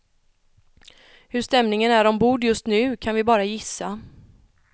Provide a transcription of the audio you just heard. Hur stämningen är ombord just nu kan vi bara gissa.